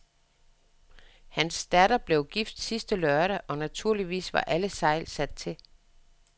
Hans datter blev gift sidste lørdag, og naturligvis var alle sejl sat til.